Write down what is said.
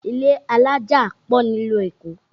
Ilé alájà pọ̀ ní ìlú Èkó